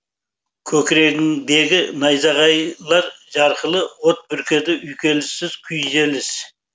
көкірегіңдегі найзағайлар жарқылы от бүркеді үйкеліссіз күйзеліс